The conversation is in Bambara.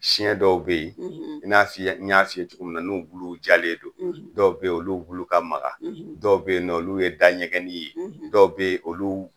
Siyɛn dɔw be yen i n'a fi ye, an ɲa f'i ye cogo min na, n'u buluw jalen don dɔw be yen olu bulu ka maka, dɔw bɛ yen nɔn olu ye da ɲɛgɛni ye, dɔw be yen olu